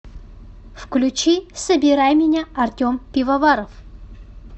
включи собирай меня артем пивоваров